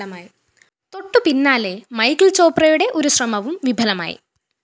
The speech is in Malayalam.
തൊട്ടുപിന്നാലെ മൈക്കിള്‍ ചോപ്രയുടെ ഒരു ശ്രമവും വിഫലമായി